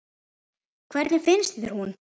Hvernig finnst þér hún?